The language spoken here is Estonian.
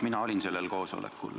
Mina olin sellel koosolekul.